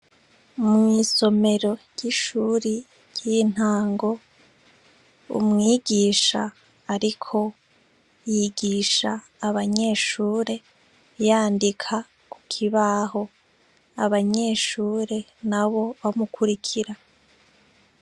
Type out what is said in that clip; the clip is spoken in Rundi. Mw'isomero ry'ishuri ry'intango umwigisha ariko yigisha abanyeshure yandika kukibaho abanyeshure nabo bamukurikira.